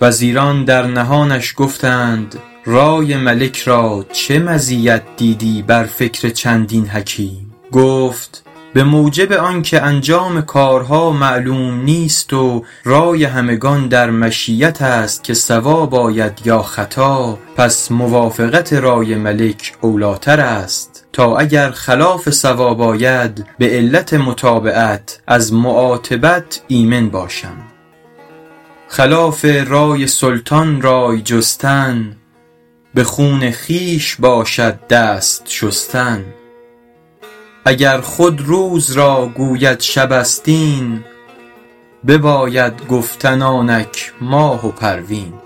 وزیران در نهانش گفتند رای ملک را چه مزیت دیدی بر فکر چندین حکیم گفت به موجب آن که انجام کارها معلوم نیست و رای همگان در مشیت است که صواب آید یا خطا پس موافقت رای ملک اولی ٰتر است تا اگر خلاف صواب آید به علت متابعت از معاتبت ایمن باشم خلاف رای سلطان رای جستن به خون خویش باشد دست شستن اگر خود روز را گوید شب است این بباید گفتن آنک ماه و پروین